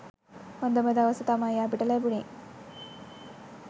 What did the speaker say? හොඳම දවස තමයි අපිට ලැබුණේ.